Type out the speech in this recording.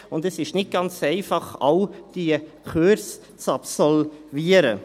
Zudem ist es nicht ganz einfach, all die Kurse zu absolvieren.